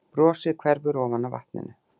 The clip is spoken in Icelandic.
Brosið hverfur ofan af vatninu.